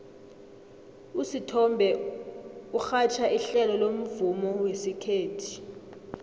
usithombe urhatjha ihlelo lomvumo wesikhethu